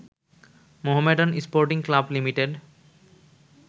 Mohammedan sporting club limited